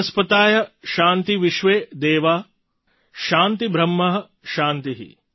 વનસ્પતય શાન્તિર્વિશ્વે દેવા શાન્તિર્બ્રહ્મ શાન્તિ